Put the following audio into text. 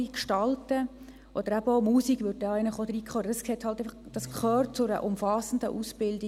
dies ist halt jetzt in diesem Vorstoss nicht enthalten – gehört dies heute zu einer umfassenden Ausbildung.